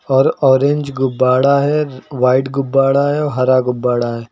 और ऑरेंज गुब्बाडा है व्हाइट गुब्बाडा है और हरा गुब्बाडा है।